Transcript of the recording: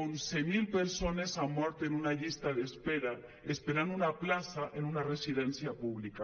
onze mil persones han mort en una llista d’espera esperant una plaça en una residència pública